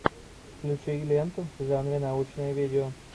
включи ленту в жанре научное видео